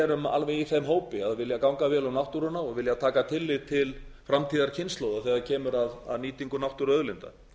erum alveg í þeim hópi að vilja ganga vel um náttúruna og vilja taka tillit til framtíðarkynslóða þegar kemur að nýtingu náttúruauðlinda